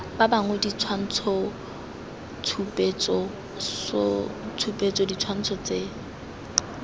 ba bangwe ditshwantshotshupetso ditshwantsho tse